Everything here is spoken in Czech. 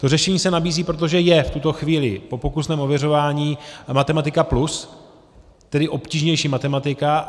To řešení se nabízí, protože je v tuto chvíli po pokusném ověřování Matematika+, tedy obtížnější matematika.